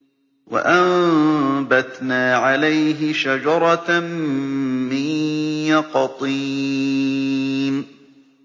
وَأَنبَتْنَا عَلَيْهِ شَجَرَةً مِّن يَقْطِينٍ